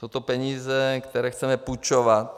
Jsou to peníze, které chceme půjčovat.